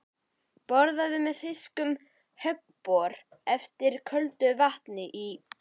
Borað með þýskum höggbor eftir köldu vatni í